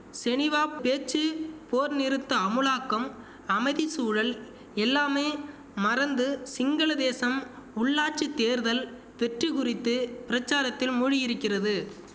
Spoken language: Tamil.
செனிவா பேச்சு போர் நிறுத்த அமுலாக்கம் அமைதி சூழல் எல்லாமே மறந்து சிங்கள தேசம் உள்ளாட்சி தேர்தல் வெற்றி குறித்து பிரசாரத்தில் மூழ்கியிருக்கிறது